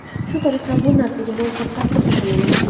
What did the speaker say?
Shu qatorda bu narsaga men ham qattiq ishonaman.